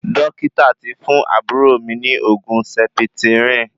Dókítà tí fún àbúrò mí ní oògùn sẹpitirìn